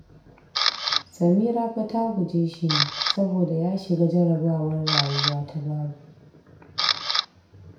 Samira fa ta guje shi ne saboda ya shiga jarrabawar rayuwa ta babu